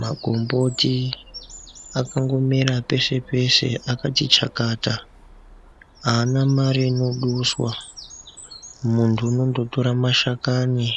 Magomboti akangomera peshe-peshe akati chakata, haana mare inoduswa. Muntu unondotora mashakani